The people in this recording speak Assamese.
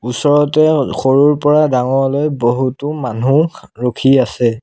ওচৰতে সৰুৰ পৰা ডাঙৰলৈ বহুতো মানু্হ ৰখি আছে।